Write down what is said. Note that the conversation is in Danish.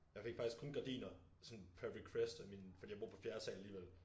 Jeg fik faktisk kun gardiner sådan per request af min fordi jeg bor på fjerde sal alligevel